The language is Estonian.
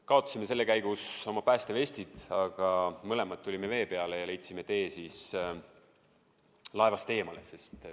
Kaotasime selle käigus oma päästevestid, aga mõlemad tulime vee peale ja leidsime tee laevast eemale.